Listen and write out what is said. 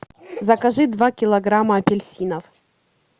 закажи два килограмма апельсинов